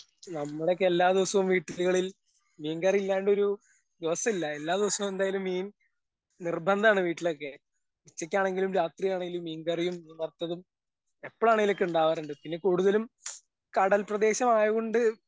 നമ്മടെയൊക്കെ എല്ലാ ദിവസവും വീടുകളിൽ മീൻ കറില്ലാണ്ടൊരു ദിവസല്ല എല്ലാ ദിവസോം എന്തായാലും മീൻ നിർബന്ധാണ് വീട്ടിലൊക്കെ ഉച്ചക്കാണെങ്കിലും രാത്രിയാണെങ്കിലും മീൻ കറിയും മീൻ വറുത്തതും എപ്പളാണെങ്കിലൊക്കെ ഇണ്ടാവാറിണ്ട് പിന്നെ കൂടുതലും കടൽ പ്രദേശമായോണ്ട്.